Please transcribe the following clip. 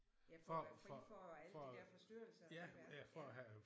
Ja for at være fri for alle de der forstyrrelser ude i verden ja